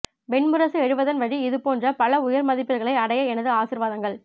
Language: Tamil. வெண் முரசு எழுதுவதன் வழி இதுபோன்ற பல உயர்மதிபீடுகளை அடைய எனது ஆசீர்வாதங்கள்